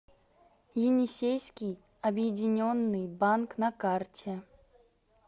енисейский объединенный банк на карте